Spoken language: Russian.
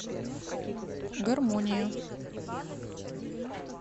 гармония